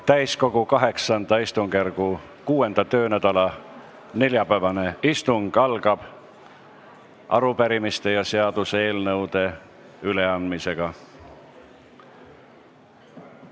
Täiskogu VIII istungjärgu 6. töönädala neljapäevane istung algab arupärimiste ja seaduseelnõude üleandmisega.